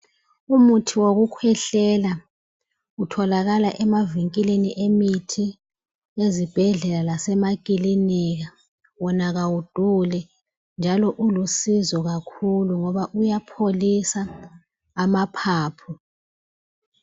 Umuthi wokukhwehlela utholakala e mavinkilini emithi, ezibhedlela lase makiliniki, wona awuduli njalo ulusizo kakhulu ngoba uyapholisa amaphaphu.